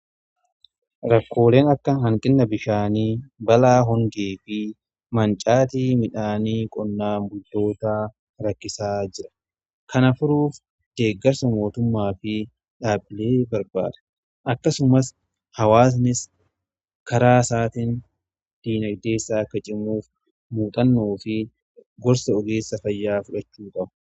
rakkooleen akka hanqina bishaanii, balaa hongee fi mancaatii midhaanii qonnaan bultoota rakkisaa jira. kana furuuf deeggarsa mootummaa fi dhaabbilee barbaachisa. akkasumas hawaasnis karaa isaatiin diinagdee isaa akka cimuuf muuxannoo fi gorsa ogeessa fayyaa fudhachuu qaba.